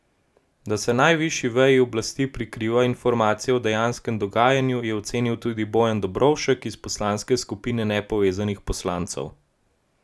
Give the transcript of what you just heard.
Da se najvišji veji oblasti prikriva informacije o dejanskem dogajanju, je ocenil tudi Bojan Dobovšek iz poslanske skupine nepovezanih poslancev.